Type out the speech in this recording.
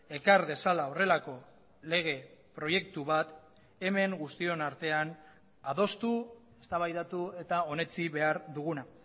ekar dezala horrelako lege proiektu bat hemen guztion artean adostu eztabaidatu eta onetsi behar duguna